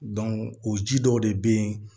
o ji dɔw de bɛ yen